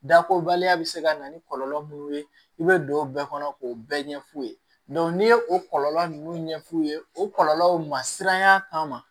Dakobaliya bɛ se ka na ni kɔlɔlɔ mun ye i bɛ don o bɛɛ kɔnɔ k'o bɛɛ ɲɛf'u ye n'i ye o kɔlɔlɔ nunnu ɲɛf'u ye o kɔlɔlɔw ma siranya kama